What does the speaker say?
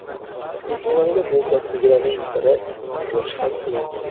Yetmaganiga bu kasb egalarining biri ikki bo‘lishi ham qiyin.